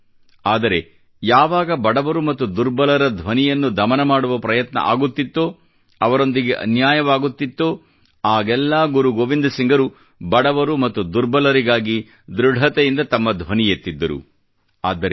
ಆದರೆ ಯಾವಾಗ ಬಡವರು ಮತ್ತು ದುರ್ಬಲರ ಧ್ವನಿಯನ್ನು ದಮನ ಮಾಡುವ ಪ್ರಯತ್ನ ಆಗುತ್ತಿತ್ತೋ ಅವರೊಂದಿಗೆ ಅನ್ಯಾಯವಾಗುತ್ತಿತ್ತೋ ಆಗೆಲ್ಲಾ ಗುರು ಗೋವಿಂದ ಸಿಂಗರು ಬಡವರು ಮತ್ತು ದುರ್ಬಲರಿಗಾಗಿ ಧ್ರುದತೆಯಿಂದ ತಮ್ಮ ಧ್ವನಿ ಎತ್ತಿದ್ದರು ಮತ್ತು ಆದ್ದರಿಂದ